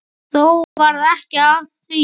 Þó varð ekki af því.